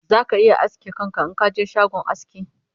za ka iya aske kanka Inka je shagon aski